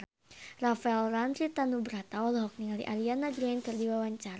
Rafael Landry Tanubrata olohok ningali Ariana Grande keur diwawancara